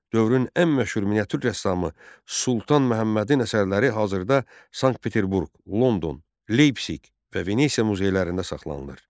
Dövrün ən məşhur miniatür rəssamı Sultan Məhəmmədin əsərləri hazırda Sankt-Peterburq, London, Leypsik və Venesiya muzeylərində saxlanılır.